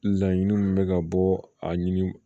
Laɲini min bɛ ka bɔ a ɲini